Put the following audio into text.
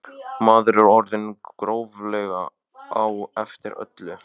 Maður er orðinn gróflega á eftir í öllu.